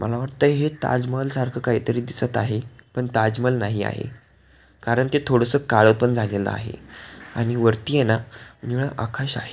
मला वाटते हे ताज महाल सारख काहितरी दिसत आहे पण ताजमहाल नाही आहे कारण ते थोडस काळ पण झालेल आहे आणि वरती आहे ना निळ आकाश आहे.